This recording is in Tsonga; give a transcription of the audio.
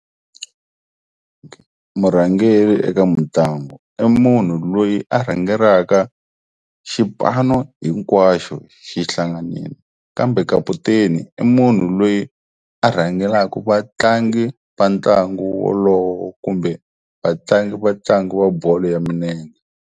Murhangeri eka mitlangu i munhu loyi a rhangelaka xipano hinkwaxo xi hlanganile kambe kaputeni i munhu loyi a rhangelaku vatlangi va ntlangu wolowo kumbe vatlangi va ntlangu wa bolo ya minenge.